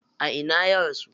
A ina ya rasu?